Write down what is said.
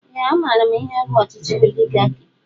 Ee a maara m ihe bụ ọchịchị oligarki